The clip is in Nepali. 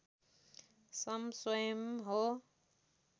सं स्वयम् हो